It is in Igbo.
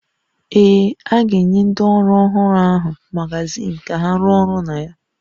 Ee, a ga-enye ndị ọrụ ọhụrụ ahụ magazin ka ha rụọ ọrụ na ya